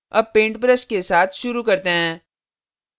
अब paint brush के साथ शुरू करते हैं